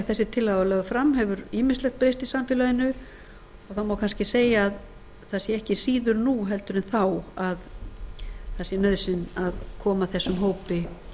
þessi tillaga var lögð fram hefur ýmislegt breyst í samfélaginu og það má kannski segja að það sé ekki síður nú en þá að það sé nauðsyn að koma þessum hópi